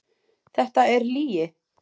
Þetta er lygi!